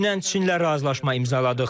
Dünən Çinlə razılaşma imzaladıq.